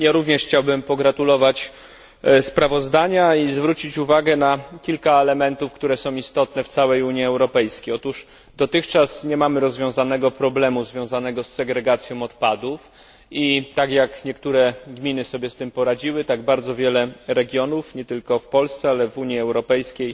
Ja również chciałbym pogratulować sprawozdania i zwrócić uwagę na kilka elementów, które są istotne w całej Unii Europejskiej. Otóż dotychczas nie mamy rozwiązanego problemu związanego z segregacją odpadów i tak jak niektóre gminy sobie z tym poradziły, tak bardzo wiele regionów, nie tylko w Polsce, ale w Unii Europejskiej,